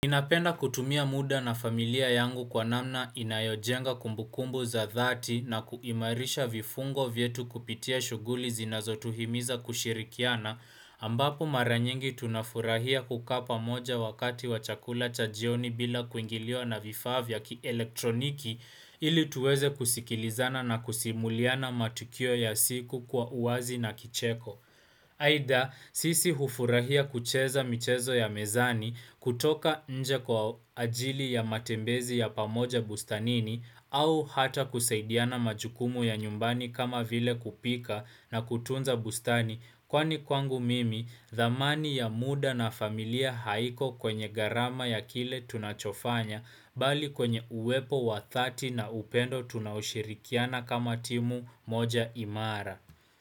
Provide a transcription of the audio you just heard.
Ninapenda kutumia muda na familia yangu kwa namna inayojenga kumbukumbu za dhati na kuimarisha vifungo vyetu kupitia shughuli zinazotuhimiza kushirikiana, ambapo mara nyingi tunafurahia kukaa pamoja wakati wachakula cha jioni bila kuingiliwa na vifaa vya kielektroniki ili tuweze kusikilizana na kusimuliana matukio ya siku kwa uwazi na kicheko. Aidha sisi hufurahia kucheza michezo ya mezani kutoka nje kwa ajili ya matembezi ya pamoja bustanini au hata kusaidiana majukumu ya nyumbani kama vile kupika na kutunza bustani kwani kwangu mimi thamani ya muda na familia haiko kwenye gharama ya kile tunachofanya bali kwenye uwepo wa dhati na upendo tunaoshirikiana kama timu moja imara.